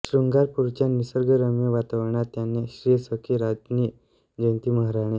श्रुंगारपुरच्या निसर्गरम्य वातावरणात त्यांनी श्री सखी राज्ञी जयती महाराणी